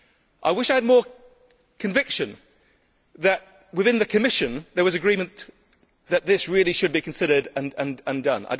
I wish I had more conviction that within the Commission there was agreement that this really should be considered and done.